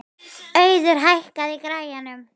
Auður, hækkaðu í græjunum.